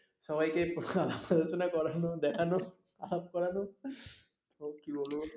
সবাইকে আলোচনা করানো দেখানো আলাপ করানো ওফস কী বলবো